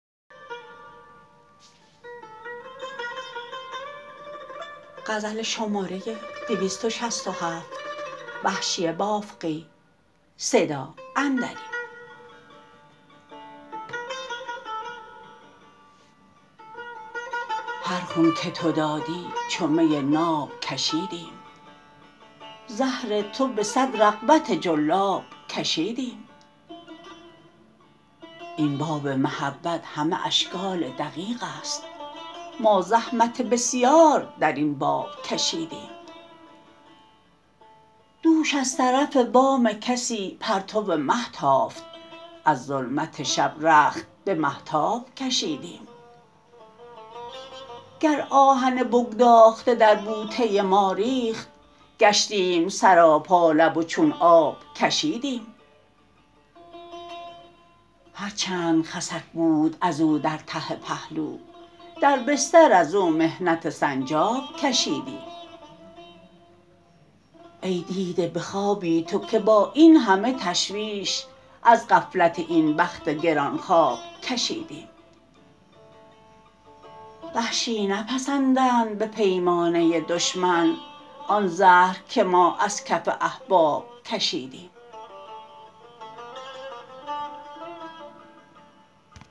هر خون که تو دادی چو می ناب کشیدیم زهر تو به سد رغبت جلاب کشیدیم این باب محبت همه اشکال دقیقست ما زحمت بسیار در این باب کشیدیم دوش از طرف بام کسی پرتو مه تافت از ظلمت شب رخت به مهتاب کشیدیم گر آهن بگداخته در بوته ما ریخت گشتیم سراپا لب و چون آب کشیدیم هر چند خسک بود از او در ته پهلو در بستر از او محنت سنجاب کشیدیم ای دیده به خوابی تو که با اینهمه تشویش از غفلت این بخت گران خواب کشیدیم وحشی نپسندند به پیمانه دشمن آن زهر که ما از کف احباب کشیدیم